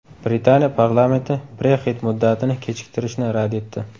Britaniya parlamenti Brexit muddatini kechiktirishni rad etdi.